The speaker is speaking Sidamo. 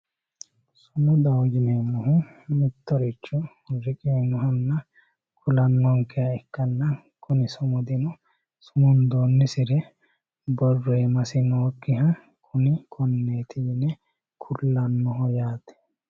sumudaho yineemmohu mittoricho leellano ikkanna kuni sumudino sumundoonsiri borro iimasi nookkiha kuni konneeti yee kulannoho yaate